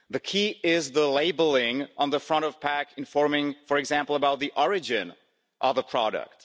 The key is the labelling on the front of packs informing, for example, about the origin of the product.